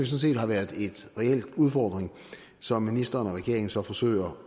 set har været en reel udfordring som ministeren og regeringen så forsøger